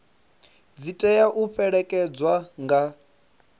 dzi tea u fhelekedzwa nga